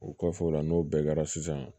O kɔfɛ o la n'o bɛɛ kɛra sisan